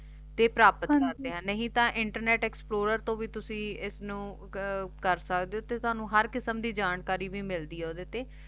ਤੇ ਪਰਾਪਤ ਕਰਦੇ ਆਂ ਨਹੀ ਤੇ ਇੰਟਰਨੇਟ internet explorer ਤੂ ਵੀ ਤੁਸੀਂ ਏਸਨੂ ਕਰ ਸਕਦੇ ਊ ਤੇ ਤਨੁ ਹਰ ਕਿਸਮ ਦੀ ਜਾਣਕਾਰੀ ਵੀ ਮਿਲਦੀ ਆ ਓਦੇ ਤੇ